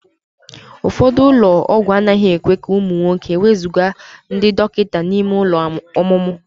Ụfọdụ ụlọ ọgwụ anaghị ekwe ka ụmụ nwoke ewezuga ndị dọkịta n'ime ụlọ ọmụmụ.